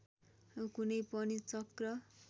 कुनै पनि चक्र